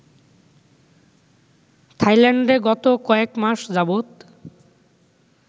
থাইল্যান্ডে গত কয়েক মাস যাবত